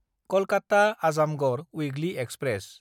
कलकाता–आजामगड़ weekly express